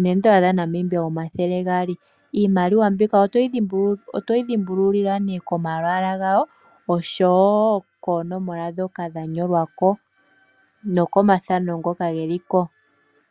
N$100 noN$200. Iimaliwa mbika otoyi dhimbulula nee komalwaala gawo oshowo koonomola dhoka dha nyolwa ko nokomathano ngoka geliko.